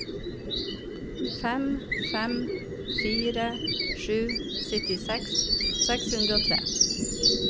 fem fem fire sju syttiseks seks hundre og tre